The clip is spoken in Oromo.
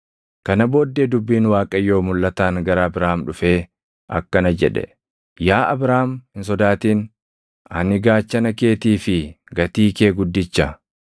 Kana booddee dubbiin Waaqayyoo mulʼataan gara Abraam dhufee akkana jedhe; “Yaa Abraam hin sodaatin; ani gaachana keetii fi gatii kee guddicha.”